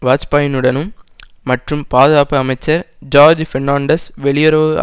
வாஜ்பாயினுடனும் மற்றும் பாதுகாப்பு அமைச்சர் ஜோர்ஜ் பெர்ணான்டஸ் வெளியுறவு